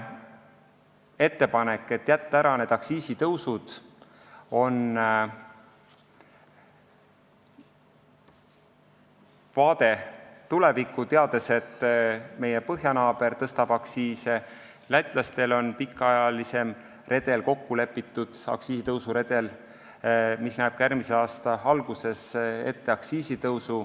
Ettepanek jätta ära aktsiisitõusud on vaade tulevikku, teades, et meie põhjanaaber tõstab aktsiise, lätlastel on kokku lepitud pikaajaline aktsiisitõusuredel, mis näeb ette ka järgmise aasta alguses aktsiisitõusu.